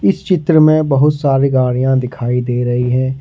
इस चित्र में बहुत सारी गाड़ियां दिखाई दे रही है।